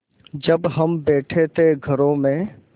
जब हम बैठे थे घरों में